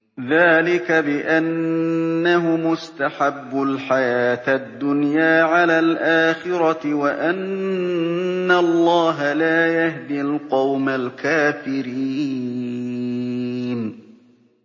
ذَٰلِكَ بِأَنَّهُمُ اسْتَحَبُّوا الْحَيَاةَ الدُّنْيَا عَلَى الْآخِرَةِ وَأَنَّ اللَّهَ لَا يَهْدِي الْقَوْمَ الْكَافِرِينَ